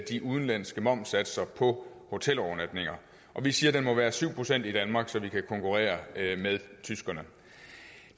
de udenlandske momssatser på hotelovernatninger vi siger den må være syv procent i danmark så vi kan konkurrere med tyskerne